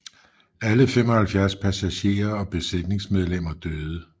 Alle 75 passagerer og besætningsmedlemmer døde